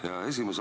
Hea esimees!